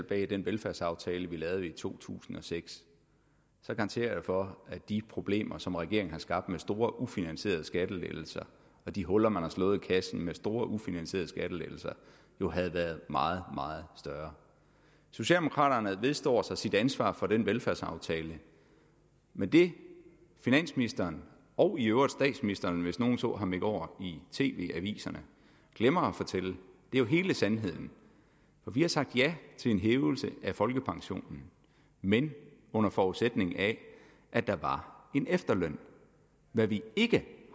bag den velfærdsaftale vil lavede i to tusind og seks garanterer jeg for at de problemer som regeringen har skabt med store ufinansierede skattelettelser og de huller man har slået i kassen med store ufinansierede skattelettelser jo havde været meget meget større socialdemokraterne vedstår sig sit ansvar for den velfærdsaftale men det finansministeren og i øvrigt statsministeren hvis nogen så ham i går i tv aviserne glemmer at fortælle er jo hele sandheden for vi har sagt ja til en hævelse af folkepensionen men under forudsætning af at der var en efterløn hvad vi ikke